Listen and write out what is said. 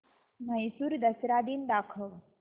म्हैसूर दसरा दिन दाखव